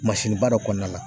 Mansinniba dɔ kɔnɔna la